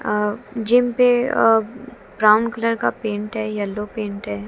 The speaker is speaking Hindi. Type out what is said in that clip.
आं जिम पे ब्राउन कलर का पेंट है येलो पेंट है।